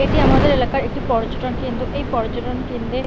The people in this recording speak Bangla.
এটি আমাদের এলাকার একটি পর্যটন কেন্দ্র এই পর্যটন কেন্দ্রে--